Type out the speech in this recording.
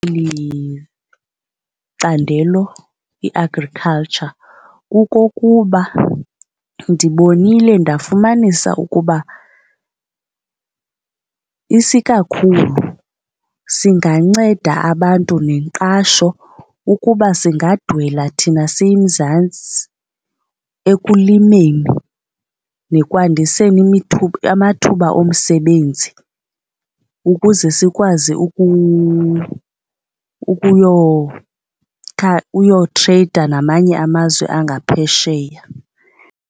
candelo i-agriculture kukokuba ndibonile ndafumanisa ukuba isikakhulu singanceda abantu ngenqasho ukuba singadwela thina siyiMzantsi ekulimeni nekwandiseni amathuba omsebenzi ukuze sikwazi ukuyotreyida namanye amazwe angaphesheya.